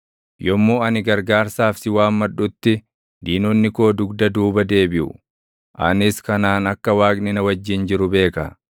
Yommuu ani gargaarsaaf si waammadhutti, diinonni koo dugda duuba deebiʼu. Anis kanaan akka Waaqni na wajjin jiru beeka.